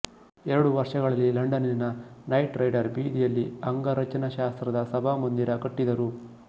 ಎರಡು ವರ್ಷಗಳಲ್ಲಿ ಲಂಡನ್ನಿನ ನೈಟ್ ರೈಡರ್ ಬೀದಿಯಲ್ಲಿ ಅಂಗರಚನಾಶಾಸ್ತ್ರದ ಸಭಾಮಂದಿರ ಕಟ್ಟಿದರು